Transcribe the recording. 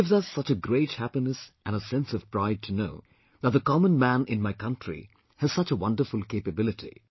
It gives us such a great happiness and a sense of pride to know that the common man in my country has such a wonderful capability